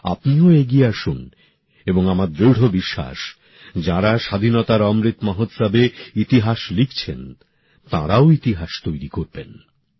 আপনিও এগিয়ে আসুন এবং আমার দৃঢ় বিশ্বাস যারা স্বাধীনতার অমৃত মহোৎসবে ইতিহাস লিখছেন তারাও ইতিহাস তৈরি করবেন